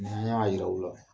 Ni n y'a jira u la